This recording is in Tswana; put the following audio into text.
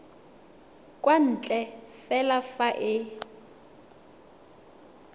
kwa ntle fela fa e